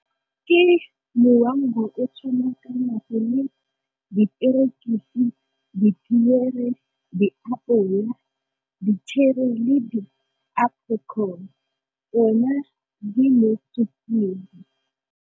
Ke o tshwanagang le diperekisi, dipiere, diapole, di-cherry le di-apricot .